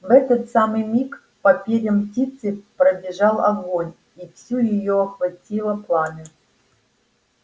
в этот самый миг по перьям птицы пробежал огонь и всю её охватило пламя